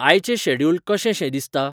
आयचें शॅड्युल कशें शें दिसता?